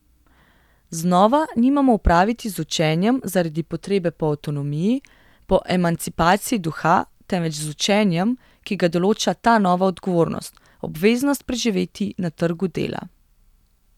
Znova nimamo opraviti z učenjem zaradi 'potrebe po avtonomiji', po emancipaciji duha, temveč z učenjem, ki ga določa ta nova odgovornost: 'obveznost preživeti na trgu dela'.